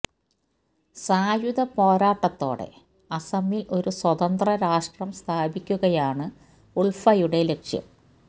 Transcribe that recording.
സായുധ പോരാട്ടത്തോടെ അസമിൽ ഒരു സ്വതന്ത്ര രാഷ്ട്രം സ്ഥാപിക്കയാണ് ഉൾഫയുടെ ലക്ഷ്യം